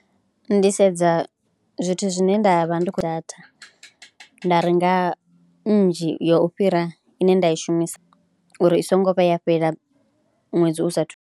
Ndi sedza zwithu zwine nda vha ndi khou dat, a nda renga nnzhi ya u fhira ine nda i shumisa uri i songo vha ya fhela ṅwedzi u saathu .